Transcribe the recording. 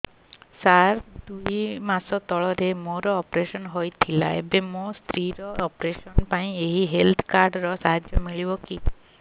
ସାର ଦୁଇ ମାସ ତଳରେ ମୋର ଅପେରସନ ହୈ ଥିଲା ଏବେ ମୋ ସ୍ତ୍ରୀ ର ଅପେରସନ ପାଇଁ ଏହି ହେଲ୍ଥ କାର୍ଡ ର ସାହାଯ୍ୟ ମିଳିବ କି